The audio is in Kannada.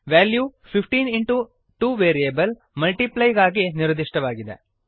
ವೆಲ್ಯೂ 15 2 ವೇರಿಯೇಬಲ್ multiply ಗಾಗಿ ನಿರ್ದಿಷ್ಟವಾಗಿದೆ